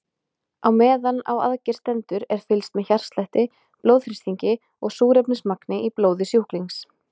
Á meðan á aðgerð stendur er fylgst með hjartslætti, blóðþrýstingi og súrefnismagni í blóði sjúklings.